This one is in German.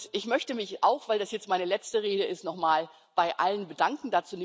Ich möchte mich auch, weil das jetzt meine letzte Rede ist, nochmal bei allen bedanken.